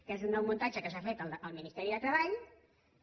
que és un nou muntatge que s’ha fet el ministeri de treball que